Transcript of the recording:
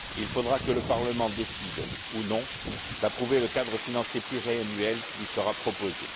Il faudra que le Parlement décide ou non d'approuver le cadre financier pluriannuel qui lui sera proposé.